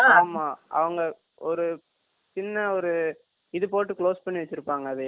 ஆமா அவங்க ஒரு சின்ன ஒரு ethu போட்டு க்ளோஸ் பண்ணி தாங்க அதையே